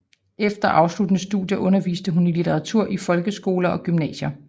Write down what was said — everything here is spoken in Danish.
Efter afsluttede studier underviste hun i litteratur i folkeskoler og gymnasier